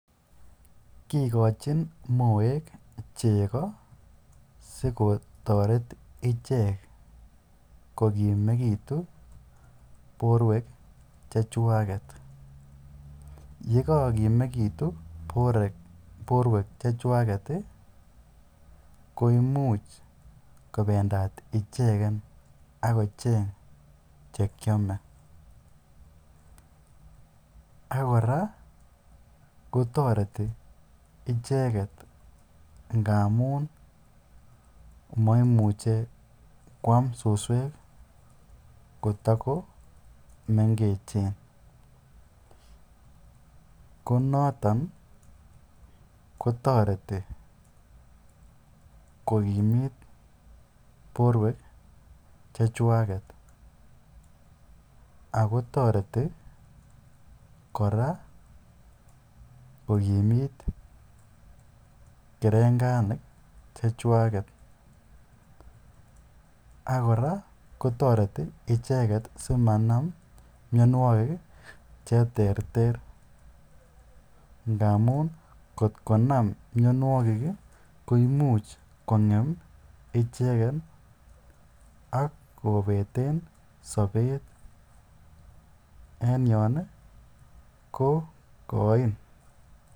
Kikochin moek cheko sikotoret ichek kokimekitu borwwek chechwaket, yekokimekitu borwek chechwaket koimuch koimuch kobendat icheken ak kocheng chekiome ak kora ko toreti icheket ngamun moimuche kwaam suswek kotokomengechen, konoton kotoreti kokimit borwek chechwaket ak ko toreti kora kokimit kerenganik chechwaket ak kora kotoreti icheket simanam mionwokik cheterter ndamun ngot konam mionwokik ko imuch kongem icheket ak kobeten sobet en yoon kokoin.